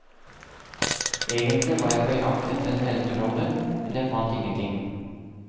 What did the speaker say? Egentlig var jeg på jakt etter en helterolle, men jeg fant ingenting.